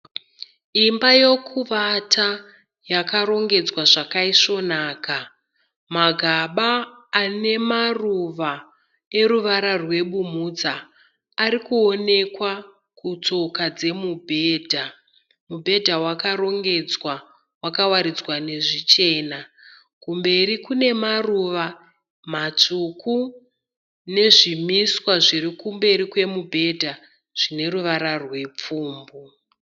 Imba yokuvata yakarongedzwa zvakaisvonaka. Magaba ane maruva eruvara rwebumhudza ari kuwonekwa kutsoka dzemubhedha. Mubhedha wakarongedzwa wakawaridzwa nezvichena. Kumberi kune maruva matsvuku nezvimiswa zviri kumberi kwemubhedha zvine ruvara rwepfumbu.